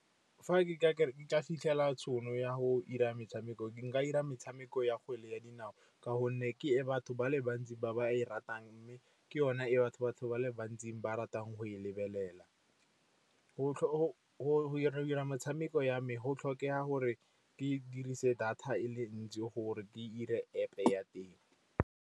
Fa ke ka fitlhela tšhono ya go 'ira metshameko, nka 'ira metshameko ya kgwele ya dinao, ka gonne ke e batho ba le bantsi ba ba e ratang, mme ke yone e batho batho ba le bantsi ba ratang go e lebelela. Go 'ira motshameko ya me, go tlhokega gore ke dirise data e le ntsi gore dire App ya teng.